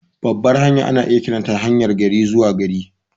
Babbar hanya ana iya kiranta haryar gari-zuwa-gari.